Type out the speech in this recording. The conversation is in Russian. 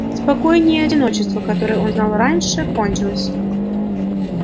спокойнее одиночество которое он знал раньше кончилось